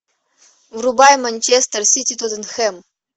врубай манчестер сити тоттенхэм